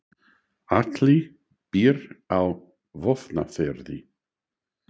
Atli býr á Vopnafirði.